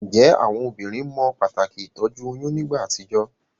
Njé àwon obínrin mo pàtàkì ìtójú oyún nígbà àtijó?